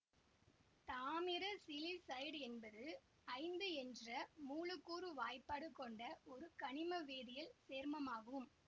தாமிர சிலிசைடு என்பது ஐந்து என்ற மூலக்கூற்று வாய்ப்பாடு கொண்ட ஒரு கனிம வேதியியல் சேர்மமாகும்